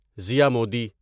زیا مودی